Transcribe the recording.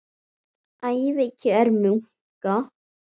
Ævikjör munka